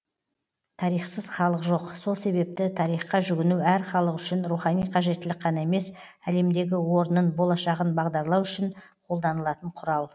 тарихсыз халық жоқ сол себепті тарихқа жүгіну әр халық үшін рухани қажеттілік қана емес әлемдегі орнын болашағын бағдарлау үшін қолданылатын құрал